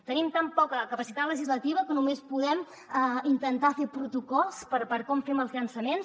tenim tan poca capacitat legislativa que només podem intentar fer protocols per com fem els llançaments